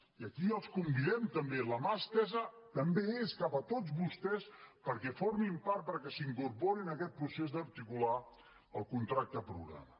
i aquí els convidem també la mà estesa també és cap a tots vostès perquè formin part perquè s’incorporin a aquest procés d’articular el contracte programa